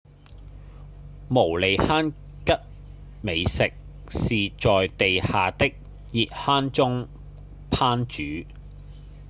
毛利杭吉美食是在地下的熱坑中烹煮